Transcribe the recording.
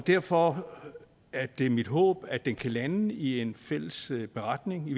derfor er det mit håb at den kan landes i en fælles beretning